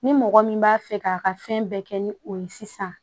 Ni mɔgɔ min b'a fɛ k'a ka fɛn bɛɛ kɛ ni o ye sisan